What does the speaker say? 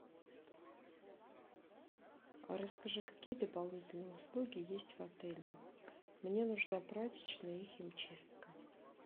расскажи какие дополнительные услуги есть в отеле мне нужна прачечная и химчистка